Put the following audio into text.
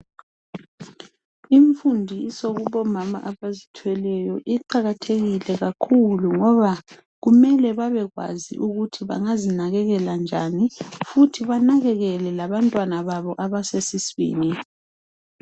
Umfundiso kubomama abazithweleyo iqakathekile kakhulu ngoba kumele bebekwazi ukuthi bengazinakekela njani futhi banakekele abantwana babo abasesiswini